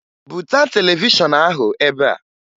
Buta televishọn ahụ ebe a!